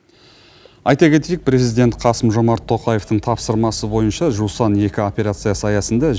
айта кетейік президент қасым жомарт тоқаевтың тапсырмасы бойынша жусан екі операциясы аясында